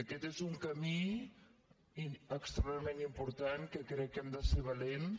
aquest és un camí extraordinàriament important que crec que hem de ser valents